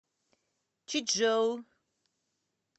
чичжоу